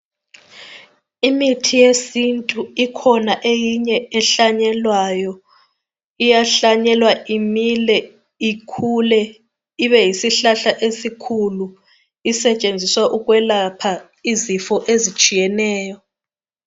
Imithi yesintu ikhona eyinye ehlanyelwayo, iyahlanyelwa imile ikhule ibe yisihlahla esikhulu isetshenziswa ukwelapha izifo ezitshiyeneyo